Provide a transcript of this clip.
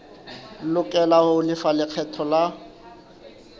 lokela ho lefa lekgetho la